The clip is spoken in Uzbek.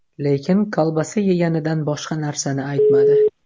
Lekin kolbasa yeganidan boshqa narsani aytmadi.